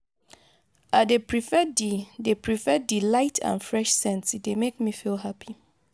i dey prefer di dey prefer di light and fresh scents e dey make me feel happy.